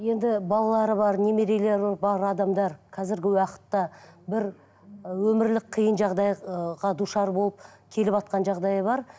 енді балалары бар немерелері бар адамдар қазіргі уақытта бір і өмірлік қиын жағдай ы душар болып келіватқан жағдайы бар